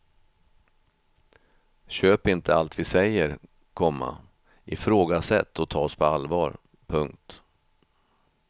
Köp inte allt vi säger, komma ifrågasätt och ta oss på allvar. punkt